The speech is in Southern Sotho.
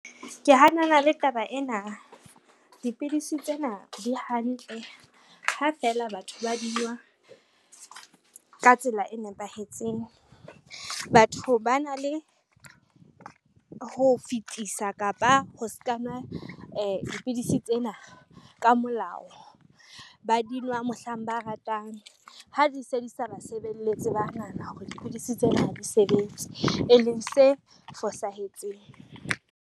Ke hanana le taba ena. Dipidisi tsena di hantle ha fela batho ba dinwa ka tsela e nepahetseng. Batho ba na le ho fetisa kapa ho ska nwe dipidisi tsena ka molao, ba dinwa mohlang ba ratang ha di se di sa ba sebeletse ba nahana hore dipidisi tsena ha di sebetse e leng se fosahetseng.